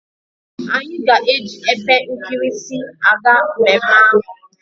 Anyi ga eji epe nkirisi aga mmemme ahu